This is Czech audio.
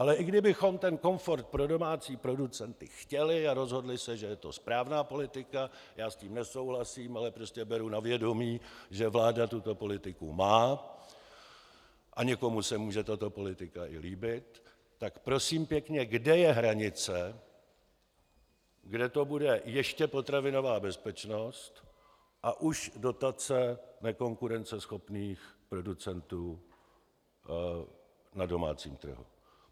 Ale i kdybychom ten komfort pro domácí producenty chtěli a rozhodli se, že je to správná politika - já s tím nesouhlasím, ale prostě beru na vědomí, že vláda tuto politiku má a někomu se může tato politika i líbit -, tak prosím pěkně, kde je hranice, kde to bude ještě potravinová bezpečnost a už dotace nekonkurenceschopných producentů na domácím trhu?